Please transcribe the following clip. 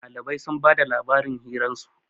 Dalibai sun ba da labarin hirarsu